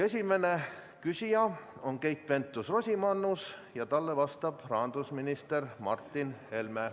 Esimene küsija on Keit Pentus-Rosimannus ja talle vastab rahandusminister Martin Helme.